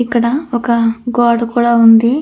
ఇక్కడ ఒక గోడ కూడా ఉంది.